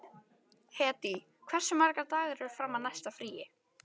Hedí, hversu margir dagar fram að næsta fríi?